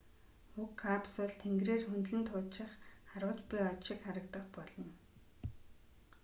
уг капсул тэнгэрээр хөндлөн туучих харваж буй од шиг харагдах болно